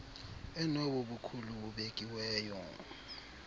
enobo bukhulu bubekiweyo